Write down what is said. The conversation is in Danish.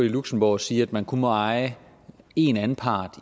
i luxembourg at sige at man kun må eje én anpart